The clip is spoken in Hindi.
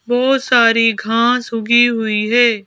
और बहोत सारी घास उगी हुई है।